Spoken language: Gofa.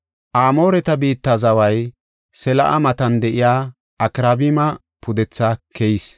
Amooreta biitta zaway Sela7a matan de7iya Akraabima pudetha keyees.